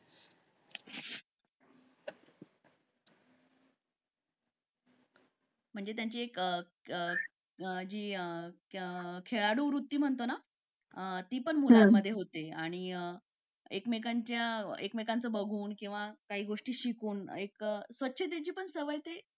मंजे त्यांची एक जी एक खेळडू वरतु महंतो ना ती पण मुलामधे होते आणि काही गोष्टी बघून किंवा शिकून त्यांची स्वच्छतेची सुद्धा एक